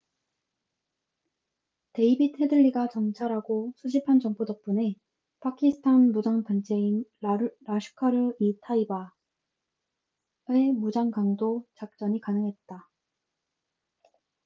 데이빗 헤들리가 정찰하고 수집한 정보 덕분에 파키스탄 무장 단체인 라슈카르 이 타이바 laskhar-e-taiba의 무장 강도 작전이 가능했다